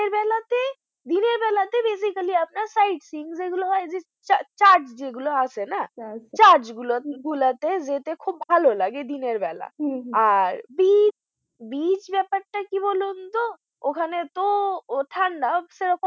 sight seeing যেগুলো হয় যে church যেগুলো আছে না church গুলো তে যেতে খুব ভালো লাগে দিন এর বেলা আর beach ব্যাপারটা কি বলুন তো ওখানে তো